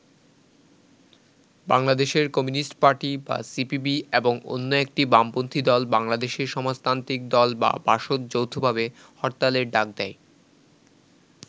বাংলাদেশের communist party বা CPB এবং অন্য একটি বামপন্থি দল বাংলাদেশের সমাজতান্ত্রিক দল বা বাসদ যৌথভাবে হরতালের ডাক দেয়।